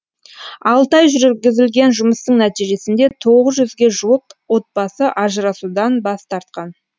алты ай жүргізілген жұмыстың нәтижесінде тоғыз жүзге жуық отбасы ажырасудан бас тартқан